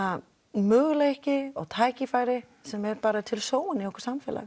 möguleiki og tækifæri sem er bara sóun í okkar samfélagi